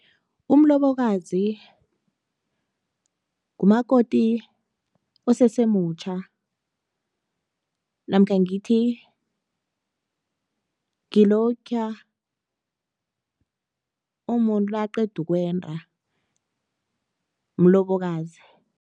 Umlobokazi, ngumakoti osesemutjha namkha ngithi ngilokhiya umuntu nakaqeda ukwenda, mlobokazi.